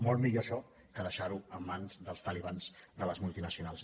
molt millor això que deixar ho en mans dels talibans de les multinacionals